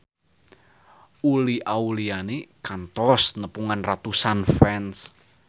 Uli Auliani kantos nepungan ratusan fans